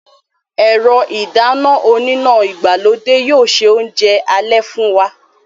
Ẹ̀rọ ìdáná oníná ìgbàlódé yóò se oúnjẹ alẹ́ fún wa